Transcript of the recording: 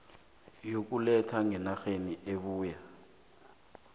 yokuletha ngenarheni ebuya